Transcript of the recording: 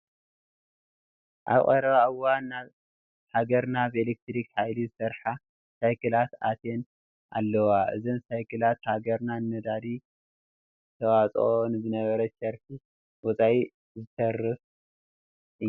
ኣብ ቀረባ እዋን ናብ ሃገርና ብኤሌክትሪክ ሓይሊ ዝሰርሓ ሳይክላት ኣትየን ኣለዋ፡፡ እዘን ሳይክላት ሃገርና ንነዳዲ ተውፅኦ ንዝነበረት ሸርፊ ወፃኢ ዘትርፋ እየን፡፡